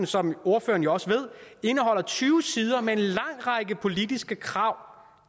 som ordføreren jo også ved tyve sider med en lang række politiske krav